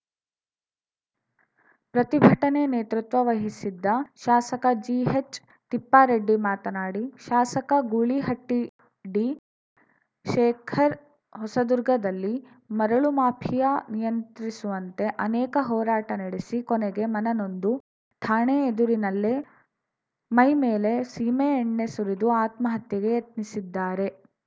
ಪ್ರತಿಭಟನೆ ನೇತೃತ್ವ ವಹಿಸಿದ್ದ ಶಾಸಕ ಜಿಹೆಚ್‌ತಿಪ್ಪಾರೆಡ್ಡಿ ಮಾತನಾಡಿ ಶಾಸಕ ಗೂಳಿಹಟ್ಟಿಡಿಶೇಖರ್‌ ಹೊಸದುರ್ಗದಲ್ಲಿ ಮರಳು ಮಾಫಿಯಾ ನಿಯಂತ್ರಿಸುವಂತೆ ಅನೇಕ ಹೋರಾಟ ನಡೆಸಿ ಕೊನೆಗೆ ಮನನೊಂದು ಠಾಣೆ ಎದುರಿನಲ್ಲೇ ಮೈಮೇಲೆ ಸೀಮೆಎಣ್ಣೆ ಸುರಿದು ಆತ್ಮಹತ್ಯೆಗೆ ಯತ್ನಿಸಿದ್ದಾರೆ